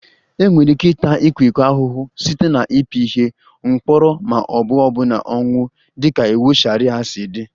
Enwere ike ịta ịkwa iko ahụhụ site na ịpị ihe, mkpọrọ ma ọ bụ ọbụna ọnwụ dịka iwu sharia si dị